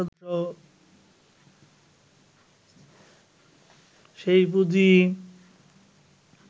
সেই পুঁজি